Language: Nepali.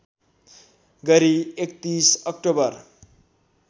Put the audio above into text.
गरी ३१ अक्टोबर